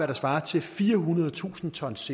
der svarer til firehundredetusind tons